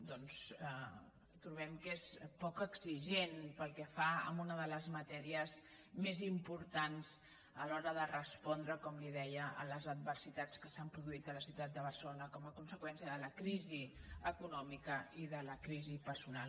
doncs trobem que és poc exigent pel que fa a una de les matèries més im·portants a l’hora de respondre com li deia a les ad·versitats que s’han produït a la ciutat de barcelona com a conseqüència de la crisi econòmica i de la crisi personal